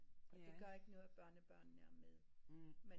Det gør ikke noget børnebørnene er med